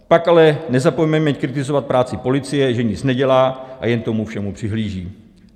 Pak ale nezapomeňme kritizovat práci policie, že nic nedělá a jen tomu všemu přihlíží.